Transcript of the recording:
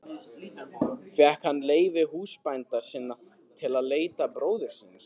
Fékk hann leyfi húsbænda sinna til að leita bróður síns.